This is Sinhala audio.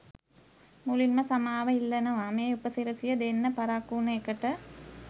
මුලින්ම සමාව ඉල්ලනවා ‍මේ උපසිරැසිය දෙන්න පරක්කු වුන එකට.